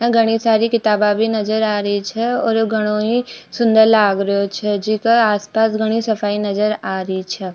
घडी सारी किताबा भी नजर आ री छे और घडो ही सुन्दर लाग रेहो छे जीका आस पास घणी सफाई नजर आ री छे।